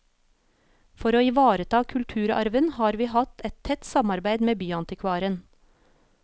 For å ivareta kulturarven, har vi hatt et tett samarbeid med byantikvaren.